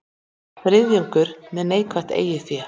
Þriðjungur með neikvætt eigið fé